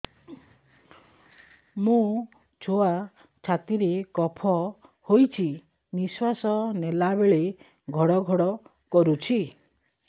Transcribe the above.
ମୋ ଛୁଆ ଛାତି ରେ କଫ ହୋଇଛି ନିଶ୍ୱାସ ନେଲା ବେଳେ ଘଡ ଘଡ କରୁଛି